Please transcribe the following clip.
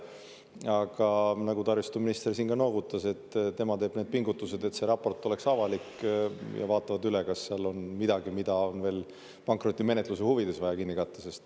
Aga nagu taristuminister siin noogutas, tema teeb need pingutused, et raport oleks avalik, ja vaatab üle, kas seal on midagi, mida on veel pankrotimenetluse huvides vaja kinni katta.